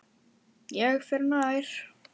Ég fer nær.